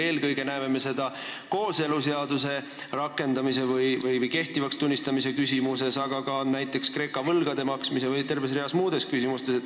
Eelkõige näeme seda kooseluseaduse rakendamise või kehtivaks tunnistamise küsimuses, aga ka näiteks Kreeka võlgade maksmise või terves reas muudes küsimustes.